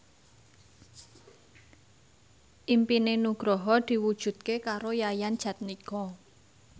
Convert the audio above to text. impine Nugroho diwujudke karo Yayan Jatnika